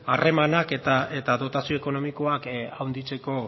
harremanak eta dotazio ekonomikoak handitzeko